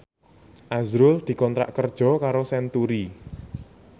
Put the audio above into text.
azrul dikontrak kerja karo Century